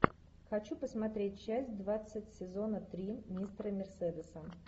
хочу посмотреть часть двадцать сезона три мистера мерседеса